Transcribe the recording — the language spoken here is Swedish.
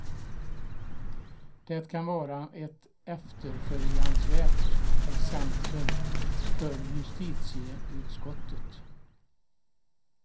Det kan vara ett efterföljansvärt exempel för justitieutskottet.